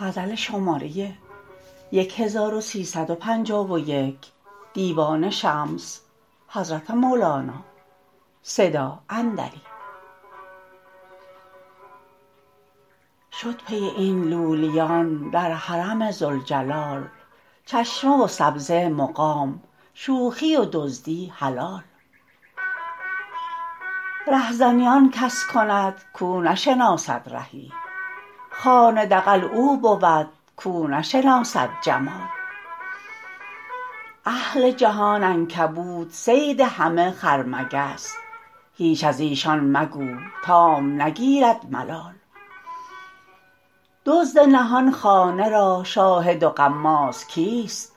شد پی این لولیان در حرم ذوالجلال چشمه و سبزه مقام شوخی و دزدی حلال رهزنی آن کس کند کو نشناسد رهی خانه دغل او بود کو نشناسد جمال اهل جهان عنکبوت صید همه خرمگس هیچ از ایشان مگو تام نگیرد ملال دزد نهان خانه را شاهد و غماز کیست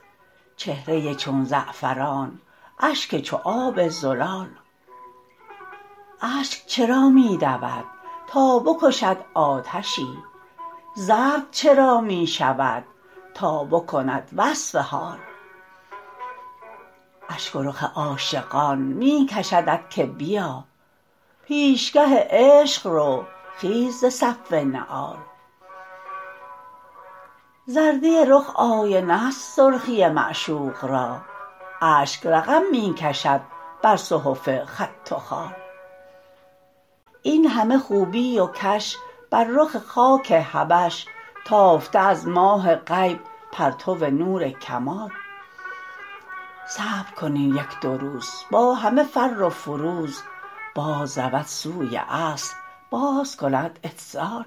چهره چون زعفران اشک چو آب زلال اشک چرا می دود تا بکشد آتشی زرد چرا می شود تا بکند وصف حال اشک و رخ عاشقان می کشدت که بیا پیشگه عشق رو خیز ز صف نعال زردی رخ آینه ست سرخی معشوق را اشک رقم می کشد بر صحف خط و خال این همه خوبی و کش بر رخ خاک حبش تافته از ماه غیب پرتو نور کمال صبر کن این یک دو روز با همه فر و فروز بازرود سوی اصل بازکند اتصال